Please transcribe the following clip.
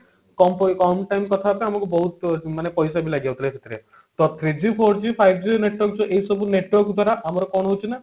କମ time କଥା ହବା ପାଇଁ ଆମକୁ ବହୁତ ମାନେ ପଇସା ବି ଲାଗିଯାଉଥିଲା ସେଥିରେ ତ three G four G five G network ଏଇସବୁ network ଦ୍ଵାରା ଆମର କଣ ହଉଛି ନା